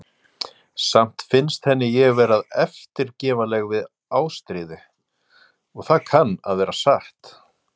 Samt fannst henni ég vera of eftirgefanleg við Ástríði, og það kann að vera satt.